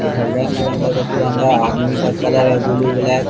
अ इधर रंग-बिरंगे का तिरंगा आदमी का कलर है ब्लू ब्लैक